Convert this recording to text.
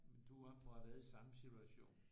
Du må have været i samme situation